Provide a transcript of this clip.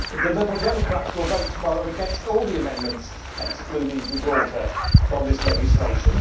The Liberal Democrats will vote tomorrow against all the amendments excluding Gibraltar from this legislation.